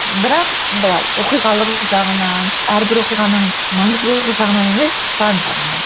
бірақ былай оқиғалы жағынан әрбір оқиғаның маңыздылығы жағынан емес сан жағынан